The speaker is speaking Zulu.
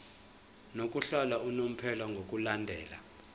lokuhlala unomphela ngokulandela